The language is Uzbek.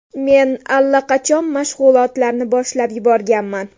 Men allaqachon mashg‘ulotlarni boshlab yuborganman.